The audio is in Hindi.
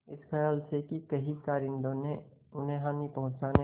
इस खयाल से कि कहीं कारिंदों ने उन्हें हानि पहुँचाने